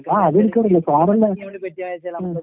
ആഹ് അതെനിക്കറിയാം. ഉം.